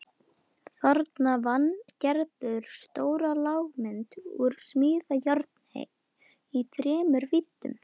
Þarna vann Gerður stóra lágmynd úr smíðajárni í þremur víddum.